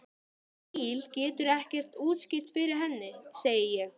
Í bili geturðu ekkert útskýrt fyrir henni, segi ég.